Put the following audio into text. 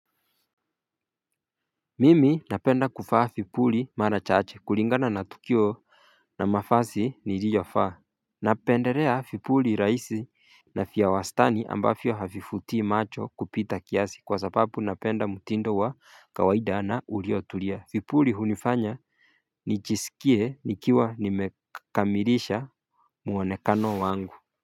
Mimi napenda kuvaa vipuli mara chache kulingana na tukio na mavazi niliyovaa Napendelea vipuli rahisi na vya wastani ambavyo havivutii macho kupita kiasi kwa sababu napenda mtindo wa kawaida na uliotulia vipuli hunifanya nijisikie nikiwa nimekamilisha muonekano wangu.